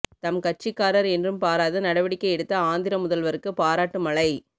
தம் கட்சிக்காரர் என்றும் பாராது நடவடிக்கை எடுத்த ஆந்திர முதல்வருக்கு பாராட்டு மழை